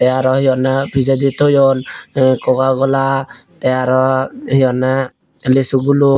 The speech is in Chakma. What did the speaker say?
tey aro hi honney pijedi toyon eh kokakala tey aro hi honney lisu gulo.